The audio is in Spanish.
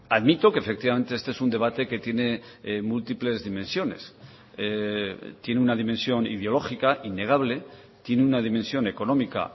admito que efectivamente este es un debate que tiene múltiples dimensiones tiene una dimensión ideológica innegable tiene una dimensión económica